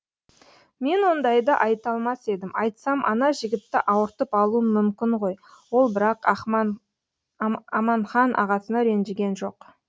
мен ондайды айта алмас едім айтсам ана жігітті ауыртып алуым мүмкін ғой ол бірақ аманхан ағасына ренжіген жоқ